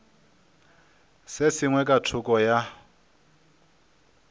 se sengwe ka thoko ya